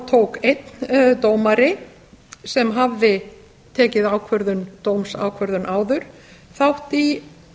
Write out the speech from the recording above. tók einn dómari sem hafði tekið dómsákvörðun áður þátt í